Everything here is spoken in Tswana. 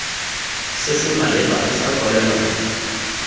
se se maleba sa kwalelano